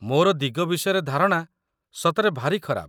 ମୋର ଦିଗ ବିଷୟରେ ଧାରଣା ସତରେ ଭାରି ଖରାପ